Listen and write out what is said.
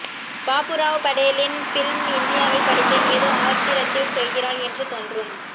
பாபுராவ் படேலின் ஃபில்ம் இந்தியாவில் படித்தேன் ஏதோ ஆத்திரத்தில் சொல்கிறாள் என்று தோன்றும்